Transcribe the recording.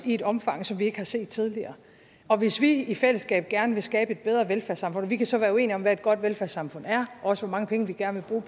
i et omfang som vi ikke har set tidligere hvis vi i fællesskab gerne vil skabe et bedre velfærdssamfund vi kan så være uenige om hvad et godt velfærdssamfund er også mange penge vi gerne vil